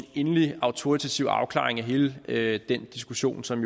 endelig autoritativ afklaring af hele hele den diskussion som